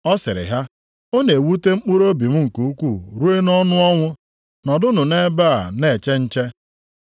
Ọ sịrị ha, “Ọ na-ewute mkpụrụobi m nke ukwuu ruo nʼọnụ ọnwụ. Nọdụnụ nʼebe a na-eche nche.”